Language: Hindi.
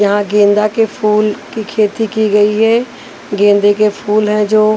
यहाँ गेंदा के फूल की खेती की गई है गेंदे के फूल है जो --